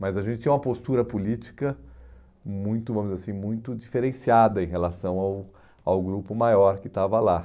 Mas a gente tinha uma postura política muito, vamos dizer assim, muito diferenciada em relação ao ao grupo maior que estava lá.